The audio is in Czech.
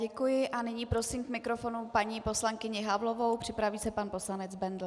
Děkuji a nyní prosím k mikrofonu paní poslankyni Havlovou, připraví se pan poslanec Bendl.